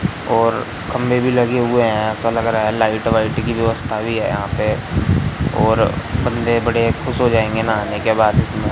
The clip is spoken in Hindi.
और खंबे भी लगे हुए हैं। ऐसा लग रहा है लाइट वाइट की व्यवस्था भी है यहां पे और बंदे बड़े खुश हो जाएंगे नहाने के बाद इसमें।